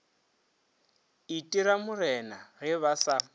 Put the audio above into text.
itira morena ge ba sa